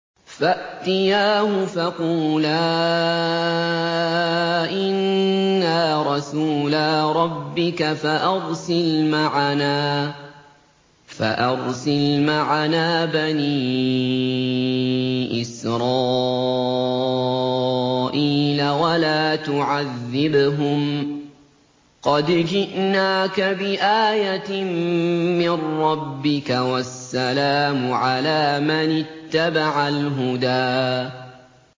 فَأْتِيَاهُ فَقُولَا إِنَّا رَسُولَا رَبِّكَ فَأَرْسِلْ مَعَنَا بَنِي إِسْرَائِيلَ وَلَا تُعَذِّبْهُمْ ۖ قَدْ جِئْنَاكَ بِآيَةٍ مِّن رَّبِّكَ ۖ وَالسَّلَامُ عَلَىٰ مَنِ اتَّبَعَ الْهُدَىٰ